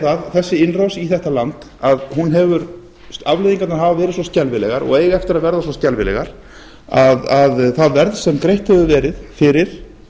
það að þessi innrás í þetta land afleiðingarnar hafa verið svo skelfilegar og eiga eftir að verða svo skelfilegar að það verð sem greitt hefur verið fyrir